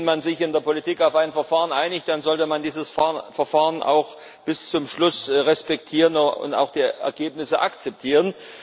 Wenn man sich in der Politik auf ein Verfahren einigt, dann sollte man dieses Verfahren auch bis zum Schluss respektieren und auch die Ergebnisse akzeptieren.